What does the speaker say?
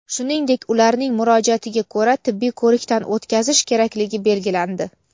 shuningdek ularning murojaatiga ko‘ra tibbiy ko‘rikdan o‘tkazish kerakligi belgilandi.